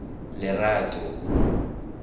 lerato